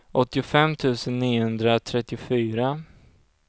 åttiofem tusen niohundratrettiofyra